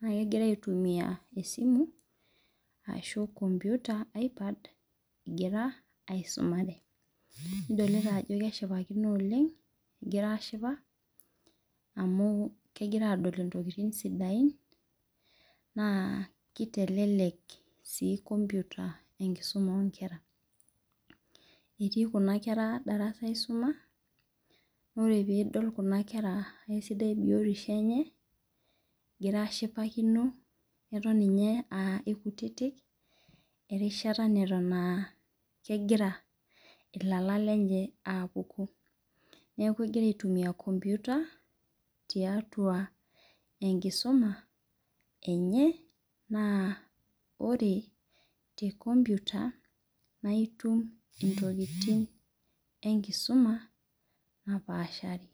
na kegira aitumia esimu ashu enkomputa egira aisumare nidolita ajo keshipakino oleng egira ashipa amu kegira adol ntokitin sidain na kitelelek si enkisuma onkera etii kuna kera darasa aisuma na ore pidol kuna kera sidai biotisho enye etom ninye aa aikutitik erishata na eton egira lala lenye abulu neaku egira aitumia enkomputa tiatua enkisuma eye na ore tenkomputa na itum ntokitin enkisuma napaashari.